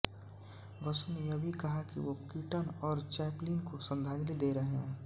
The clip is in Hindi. बसु ने यह भी कहा कि वो कीटन और चैप्लिन को श्रद्धांजली दे रहे हैं